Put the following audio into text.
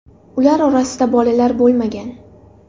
Ular orasida bolalar bo‘lmagan.